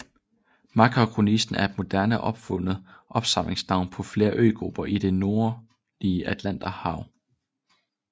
Makaronesien er et moderne opfundet samlingsnavn på flere øgrupper i det nordlige Atlanterhav